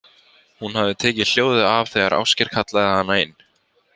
Hún hafði tekið hljóðið af þegar Ásgeir kallaði hana inn.